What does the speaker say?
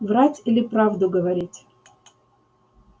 врать или правду говорить